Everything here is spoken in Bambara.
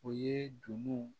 O ye numuw